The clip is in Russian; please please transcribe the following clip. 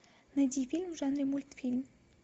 найди фильм в жанре мультфильм